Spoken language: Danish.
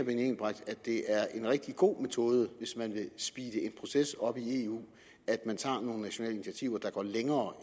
det er en rigtig god metode hvis man vil speede en proces op i eu at man tager nogle nationale initiativer der går længere